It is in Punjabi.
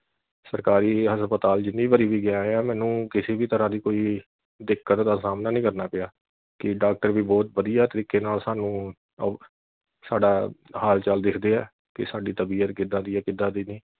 ਸਰਕਾਰੀ ਹਸਪਤਾਲ ਜਿੰਨੀ ਵਰੀ ਵੀ ਗਏ ਆ ਮੈਨੂੰ ਕਿਸੀ ਵੀ ਤਰ੍ਹਾਂ ਦੀ ਕੋਈ ਦਿੱਕਤ ਦਾ ਸਾਹਮਣਾ ਨਹੀਂ ਕਰਨਾ ਪਿਆ ਕਿ doctor ਵੀ ਬਹੁਤ ਵਧੀਆ ਤਰੀਕੇ ਨਾਲ ਸਾਨੂੰ ਸਾਡਾ ਹਾਲ ਚਾਲ ਦੇਖਦੇ ਆ ਕਿ ਸਾਡੀ ਤਬੀਅਤ ਕਿੱਦਾਂ ਦੀ ਐ ਕਿੱਦਾਂ ਦੀ ਨਹੀਂ।